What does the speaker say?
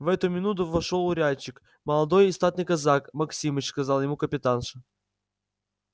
в эту минуту вошёл урядник молодой и статный казак максимыч сказала ему капитанша